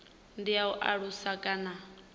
ndi ya u alusa kana